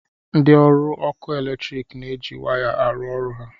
Ndị ọrụ ọkụ eletrik na-eji waya arụ ọrụ ha